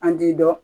An t'i dɔn